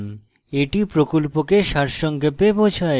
এটি প্রকল্পকে সারসংক্ষেপে বোঝায়